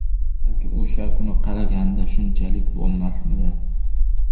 Balki o‘sha kuni qaraganida shunchalik bo‘lmasmidi?